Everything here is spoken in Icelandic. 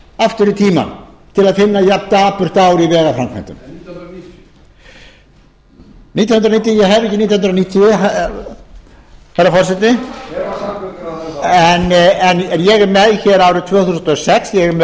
aftur í tímann til að finna jafn dapurt ár í vegaframkvæmdum ég hef ekki nítján hundruð níutíu herra forseti hver var samgönguráðherra þá en ég er með hér árið tvö þúsund og sex ég með